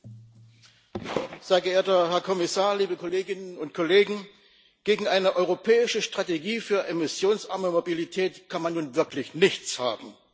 Herr Präsident, sehr geehrter Herr Kommissar, liebe Kolleginnen und Kollegen! Gegen eine europäische Strategie für emissionsarme Mobilität kann man nun wirklich nichts haben.